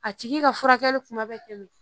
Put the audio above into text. A tigi ka furakɛli kuma bɛ tɛmɛ